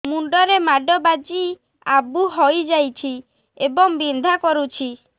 ମୁଣ୍ଡ ରେ ମାଡ ବାଜି ଆବୁ ହଇଯାଇଛି ଏବଂ ବିନ୍ଧା କରୁଛି